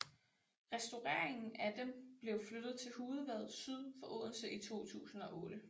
Restaureringen af dem blev flyttet til Hudevad syd for Odense i 2008